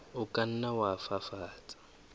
o ka nna wa fafatsa